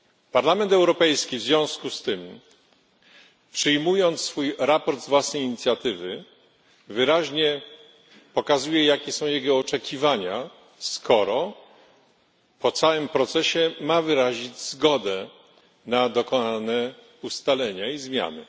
Parlament Europejski w związku z tym, przyjmując swoje sprawozdanie z własnej inicjatywy, wyraźnie pokazuje, jakie są jego oczekiwania, skoro po całym procesie ma wyrazić zgodę na dokonane ustalenia i zmiany.